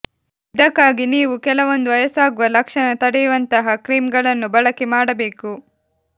ಇದಕ್ಕಾಗಿ ನೀವು ಕೆಲವೊಂದು ವಯಸ್ಸಾಗುವ ಲಕ್ಷಣ ತಡೆಯುವಂತಹ ಕ್ರೀಮ್ ಗಳನ್ನು ಬಳಕೆ ಮಾಡಬೇಕು